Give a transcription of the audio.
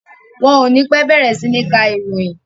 Wọn o ní pẹ́ bẹ̀rẹ̀ sí ní ka ìròyìn.